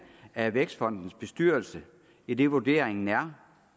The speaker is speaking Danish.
af vækstfondens bestyrelse idet vurderingen er